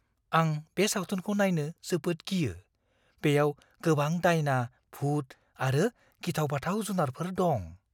आं बे सावथुनखौ नायनो जोबोद गियो। बेयाव गोबां दायना, भुत आरो गिथाव-बाथाव जुनारफोर दं।